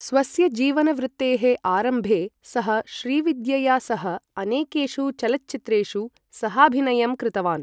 स्वस्य जीवनवृत्तेः आरम्भे, सः श्रीविद्यया सह अनेकेषु चलच्चित्रेषु सहाभिनयं कृतवान्।